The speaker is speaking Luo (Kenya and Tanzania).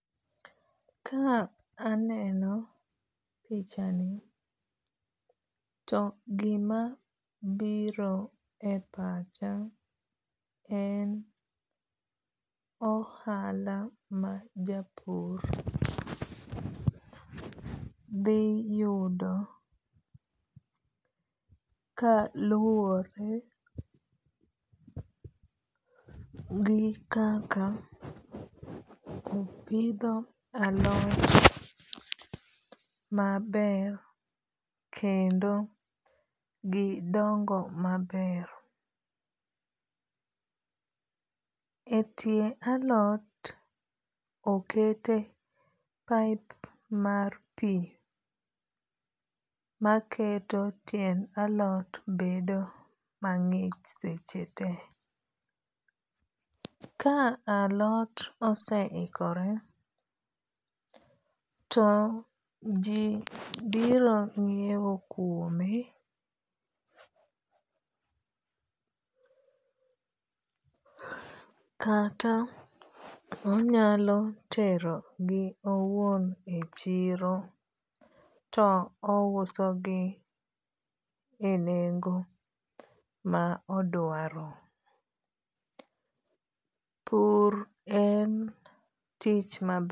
Ka aneno pichani to gima biro e pacha en ohala ma japur dhi yudo ka luore gi kaka opidho alot maber kendo gidongo maber. Etie alot okete pipe mar pi maketo tiend alot bedo mang'ich seche te. Ka alot osehikore to ji biro ng'iew kuome kata onyalo tero gi owuon e chiro to ouso gi e nengo ma odwaro. Pur en tich maber.